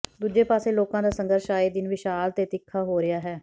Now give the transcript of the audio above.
ਦੂਜੇ ਪਾਸੇ ਲੋਕਾਂ ਦਾ ਸੰਘਰਸ਼ ਆਏ ਦਿਨ ਵਿਸ਼ਾਲ ਤੇ ਤਿੱਖਾ ਹੋ ਰਿਹਾ ਹੈ